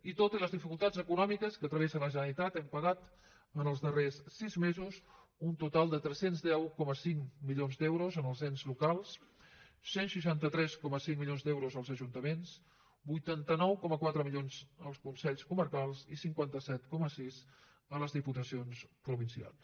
i tot i les dificultats econòmiques que travessa la generalitat hem pagat en els darrers sis mesos un total de tres cents i deu coma cinc milions d’euros als ens locals cent i seixanta tres coma cinc milions d’euros als ajuntaments vuitanta nou coma quatre milions als consells comarcals i cinquanta set coma sis a les diputacions provincials